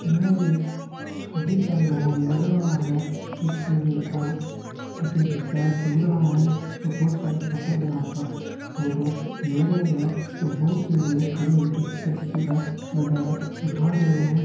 यह एक शादी का माहौल लग रहा है इसमें लड़का किसी के पेर छु रहा है और बहुत सारे फोटोग्राफर फोटो ले रहे है और बहुत से लोग खड़े होकर इस द्रश्य का नजारा उठा रहे है।